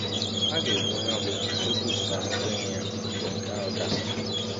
A ga-egbu onye ọ bụla nke kwupụtara nkwenye ya mgbe nke ahụ gasịrị.